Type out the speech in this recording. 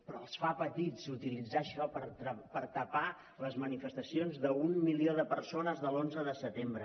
però els fa petits utilitzar això per tapar les manifestacions d’un milió de persones de l’onze de setembre